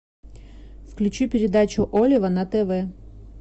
включи передачу олива на тв